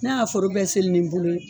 N'a y'a foro bɛɛ senni ni bolo ye